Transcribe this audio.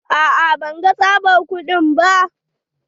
A'a ban ga tsabad kudi ba.